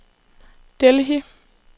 Delhi